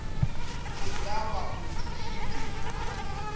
e ka ba o thušitšwe